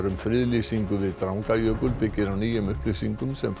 um friðlýsingu við Drangajökul byggir á nýjum upplýsingum sem